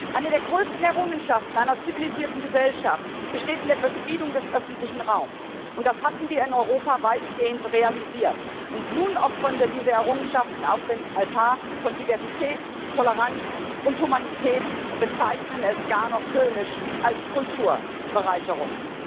Eine der größten Errungenschaften einer zivilisierten Gesellschaft besteht in der Befriedung des öffentlichen Raums, und das hatten wir in Europa weitgehend realisiert, und nun opfern wir diese Errungenschaften auf dem Altar von Diversität, Toleranz und Humanität und bezeichnen es gar noch höhnisch als Kulturbereicherung.